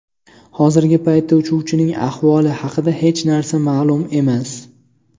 Hozirgi paytda uchuvchining ahvoli haqida hech narsa ma’lum emas.